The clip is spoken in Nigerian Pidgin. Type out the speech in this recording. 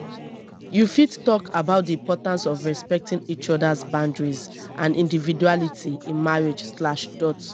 you fit talk about di importance of respecting each other's boundaries and individuality in marriage slash dot